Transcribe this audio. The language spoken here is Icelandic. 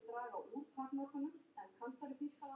Svör kann ég engin.